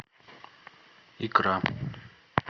икра